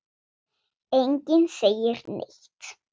Enginn segir neitt.